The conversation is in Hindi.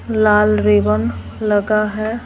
लाल रेवन लगा है।